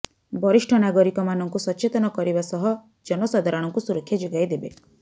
ବରିଷ୍ଠ ନାଗରିକ ମାନଙ୍କୁ ସଚେତନ କରିବା ସହ ଜନ ସାଧାରଣଙ୍କୁ ସୁରକ୍ଷା ଯୋଗାଇଦେବେ